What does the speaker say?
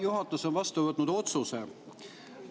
Juhatus on vastu võtnud otsuse.